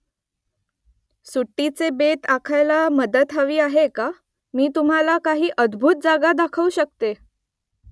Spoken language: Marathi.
सुट्टीचे बेत आखायला मदत हवी आहे का ? मी तुम्हाला काही अद्भूत जागा दाखवू शकते